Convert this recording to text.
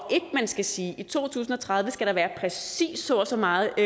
at man skal sige i to tusind og tredive skal der være præcis så og så meget